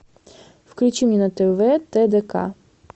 включи мне на тв тдк